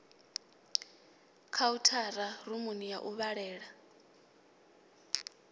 khauthara rumuni ya u vhalela